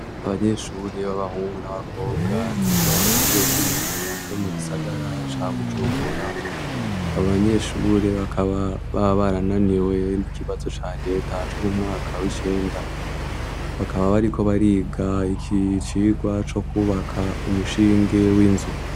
Abanyeshuri b'abahungu n'abakobwa biga kwishure ry'imyuga ryo mu gisagara ca bujumbura abanyeshure bakababa barananiwe n'ikibazo ca reta co mumwaka w'icenda bakaba bariko bariga ikicirwa co kwubaka umushinge w'inzu.